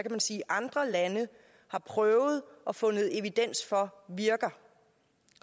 man sige andre lande har prøvet og fundet evidens for virker